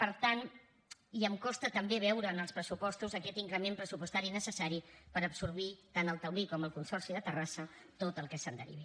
per tant i em costa també veure en els pressupostos aquest increment pressupostari necessari per absorbir tant el taulí com el consorci de terrassa tot el que se’n derivi